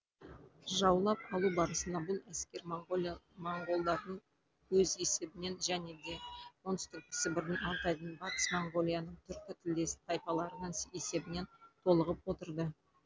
жаулап алу барысында бұл әскер моңғолдардың өз есебінен және де оңтүстік сібірдің алтайдың батыс моңғолияның түркі тілдес тайпаларының есебінен толығып отырды